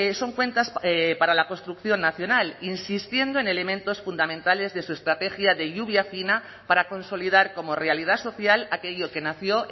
son cuentas para la construcción nacional insistiendo en elementos fundamentales de su estrategia de lluvia fina para consolidar como realidad social aquello que nació